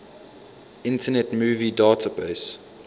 internet movie database